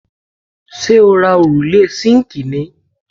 Ṣé o ra òrùlé síǹkì ni+